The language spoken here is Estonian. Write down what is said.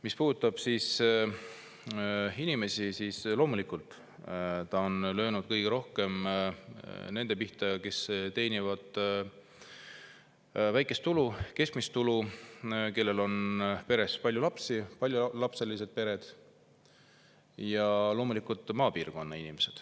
Mis puudutab inimesi, siis on see löönud kõige rohkem nende pihta, kes teenivad väikest ja keskmist tulu ning kellel on peres palju lapsi – paljulapselised pered –, ja loomulikult maapiirkonna inimesi.